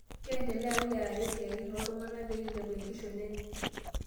Keendelea wilaya aret siatin oo ltung'ana pee eilepu enkishon enye